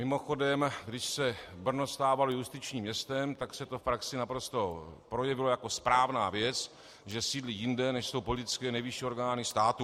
Mimochodem, když se Brno stávalo justičním městem, tak se to v praxi naprosto projevilo jako správná věc, že sídlí jinde, než jsou politické nejvyšší orgány státu.